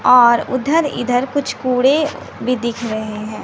और उधर इधर कुछ कूड़े भी दिख रहे हैं।